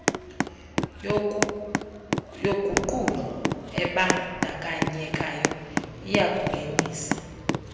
yoguqulo ebandakanyekayo iyakungenisa